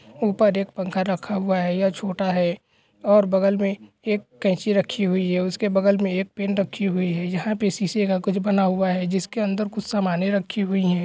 ऊपर एक पंखा रखा हुआ है यह छोटा है और बगल में एक कैची रखी हुवी है उसके बगल एक पेन रखी हुवी है यहाँ पे शीशे का कुछ बना हुआ है जिसके अंदर कुछ सामने रखी हुवी है।